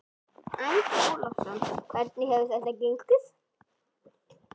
Andri Ólafsson: Hvernig hefur þetta gengið?